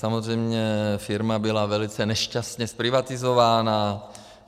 Samozřejmě firma byla velice nešťastně zprivatizována.